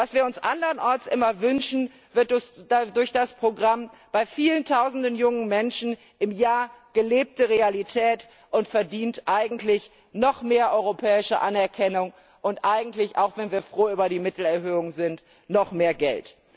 Was wir uns andernorts immer wünschen, wird durch das Programm bei vielen Tausenden jungen Menschen im Jahr gelebte Realität und verdient eigentlich noch mehr europäische Anerkennung und eigentlich auch wenn wir froh über die Mittelerhöhung sind noch mehr Geld!